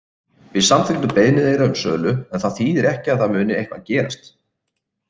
Við samþykktum beiðni þeirra um sölu en það þýðir ekki að það muni eitthvað gerast.